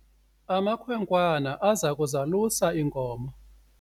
amakhwenkwana aza kuzalusa iinkomo